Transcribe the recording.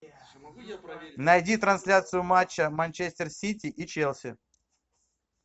найди трансляцию матча манчестер сити и челси